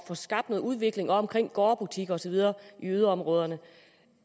få skabt noget udvikling omkring gårdbutikker og så videre i yderområderne